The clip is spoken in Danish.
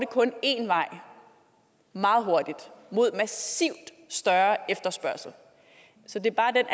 én vej meget hurtigt mod massivt større efterspørgsel så det er bare den